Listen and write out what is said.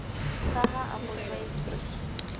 ka ha a mo tlwaeditse